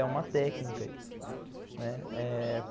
É uma técnica isso, né. É...